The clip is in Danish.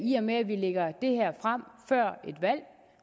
i og med at vi lægger det her frem før et valg